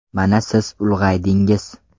Mana siz ulg‘aydingiz.